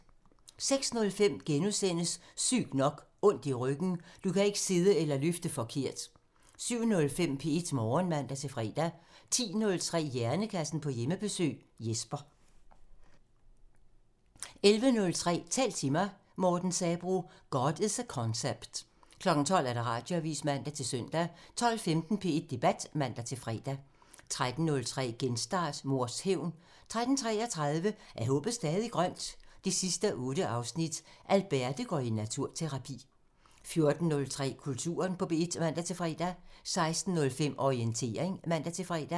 06:05: Sygt nok: Ondt i ryggen – Du kan ikke sidde eller løfte forkert * 07:05: P1 Morgen (man-fre) 10:03: Hjernekassen på Hjemmebesøg – Jesper 11:03: Tal til mig – Morten Sabroe: "God is a concept" 12:00: Radioavisen (man-søn) 12:15: P1 Debat (man-fre) 13:03: Genstart: Mors hævn 13:33: Er håbet stadig grønt? 8:8 – Alberte går i naturterapi 14:03: Kulturen på P1 (man-fre) 16:05: Orientering (man-fre)